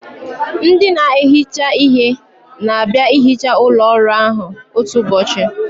Ndị na-ehicha ihe na-abịa ihicha ụlọ ọrụ ahụ otu ụbọchị